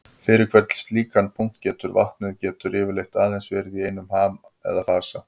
Fyrir hvern slíkan punkt getur vatnið getur yfirleitt aðeins verið í einum ham eða fasa.